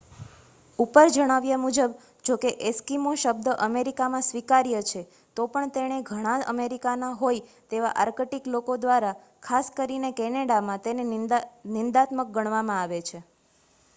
"ઉપર જણાવ્યા મુજબ જો કે "એસ્કીમો" શબ્દ અમેરિકામાં સ્વીકાર્ય છે તો પણ તેને ઘણા અમેરિકાના ના હોય તેવા આર્કટીક લોકો દ્વારા ખાસ કરીને કેનેડામાં તેને નિંદાત્મક ગણવામાં આવે છે.